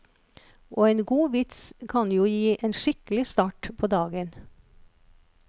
Og en god vits kan jo gi en skikkelig start på dagen.